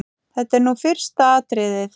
Þetta er nú fyrsta atriðið.